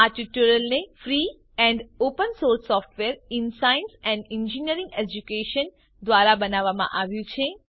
આ ટ્યુટોરીયલને free and open source software in science and engineering education દ્વારા બનાવવામાં આવ્યું છે